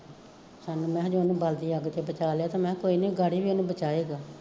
ਸਾਨੂੰ ਮਹਾਂ ਜੇ ਓਨੇ ਬਲਦੀ ਅੱਗ ਚੋਂ ਬਚਾਲਿਆ ਤੇ ਮਹਾਂ ਕੋਈ ਨੀ ਗਾੜੀ ਵੀ ਓਹਨੇ ਬਚਾ ਈ ਦੇਣਾ